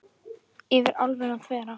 Yfir álfuna þvera